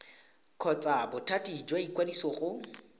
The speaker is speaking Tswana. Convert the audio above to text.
kgotsa bothati jwa ikwadiso go